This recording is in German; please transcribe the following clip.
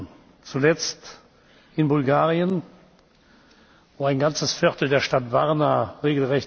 Die Wirtschaft und insbesondere die Landwirtschaft in diesen Regionen wird viele Jahre brauchen, um sich von diesen schweren Zerstörungen zu erholen.